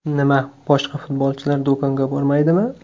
Nima boshqa futbolchilar do‘konga bormaydimi?